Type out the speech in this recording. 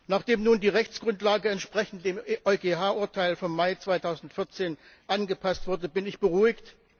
Nachdem nun die Rechtsgrundlage entsprechend dem EuGH Urteil vom Mai 2014 angepasst wurde, bin ich beruhigt.